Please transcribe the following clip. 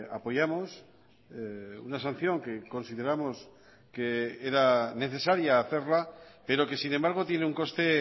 apoyamos una sanción que consideramos que era necesaria hacerla pero que sin embargo tiene un coste